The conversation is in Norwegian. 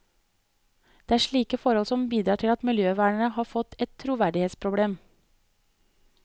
Det er slike forhold som bidrar til at miljøvernere har fått et troverdighetsproblem.